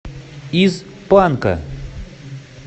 из панка